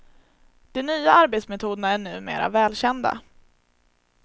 De nya arbetsmetoderna är numera välkända.